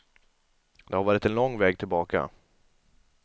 Det har varit en lång väg tillbaka.